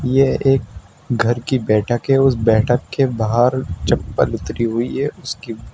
यह एक घर की बैठक है उस बैठक के बाहर चप्पल उतरी हुई है उसकी --